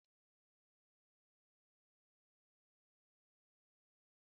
Mmanụ nri bụ mmanụ nkịtị eji esi nri na Naịjirịa